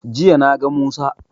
Jiya na ga musa